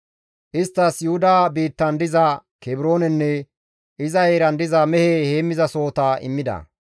Isttas Yuhuda biittan diza Kebroonenne iza heeran diza mehe heemmizasohota immida.